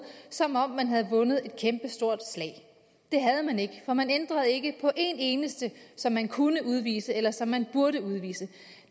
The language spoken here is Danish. som om man havde vundet et kæmpestort slag det havde man ikke for man ændrede det ikke for en eneste som man kunne udvise eller som man burde udvise